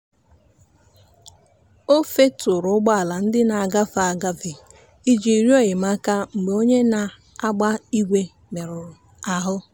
o feturu ụgbọala ndị na-agafe agafe iji rịọ enyemaka mgbe onye na-agba igwe merụrụ ahụ.